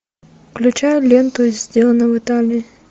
включай ленту сделано в италии